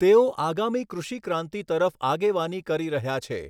તેઓ આગામી કૃષિ ક્રાંતિ તરફ આગેવાની કરી રહ્યા છે.